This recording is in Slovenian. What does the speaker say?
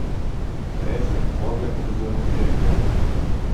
Res je, orgle povezujemo s cerkvijo.